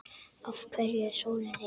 Af hverju er sólin heit?